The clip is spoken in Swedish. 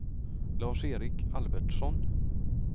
Lars-Erik Albertsson